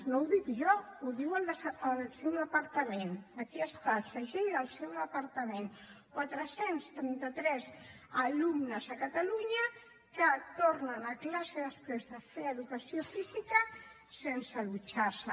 no ho dic jo ho diu el seu departament aquí està el segell del seu departament quatre cents i trenta tres alumnes a catalunya que tornen a classe després de fer educació física sense dutxar se